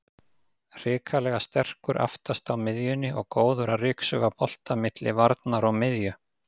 Hrikalega sterkur aftast á miðjunni og góður að ryksuga bolta milli varnar og miðju.